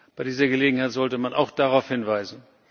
Bei dieser Gelegenheit sollte man auch darauf hinweisen.